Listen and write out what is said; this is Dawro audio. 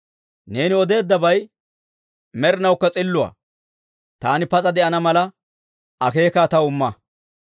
Neeni odeeddabay med'inawukka s'illuwaa; taani pas'a de'ana mala, akeekaa taw imma.